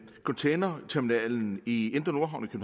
containerterminalen i indre nordhavn i